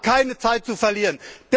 Wir haben keine Zeit zu verlieren.